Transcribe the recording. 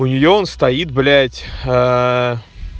у нее он стоит блять ээ